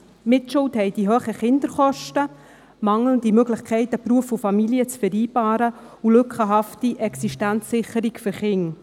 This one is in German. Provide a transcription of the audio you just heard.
Mitschuld haben die hohen Kinderkosten, die mangelnde Möglichkeit, Beruf und Familie zu vereinbaren, und die lückenhafte Existenzsicherung für Kinder.